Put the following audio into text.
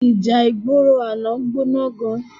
Íjá igbóró àná gbóná gán